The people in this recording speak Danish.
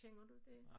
Kender du det?